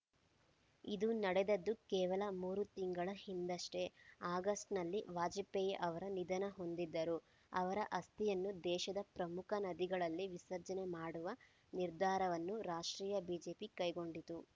ಇದು ನಡೆದದ್ದು ಕೇವಲ ಮೂರು ತಿಂಗಳ ಹಿಂದಷ್ಟೆ ಆಗಸ್ಟ್‌ನಲ್ಲಿ ವಾಜಪೇಯಿ ಅವರು ನಿಧನ ಹೊಂದಿದ್ದರು ಅವರ ಅಸ್ಥಿಯನ್ನು ದೇಶದ ಪ್ರಮುಖ ನದಿಗಳಲ್ಲಿ ವಿಸರ್ಜನೆ ಮಾಡುವ ನಿರ್ಧಾರವನ್ನು ರಾಷ್ಟೀಯ ಬಿಜೆಪಿ ಕೈಗೊಂಡಿತ್ತು